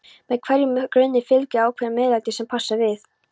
með hverjum grunni fylgir ákveðið MEÐLÆTI sem passar við.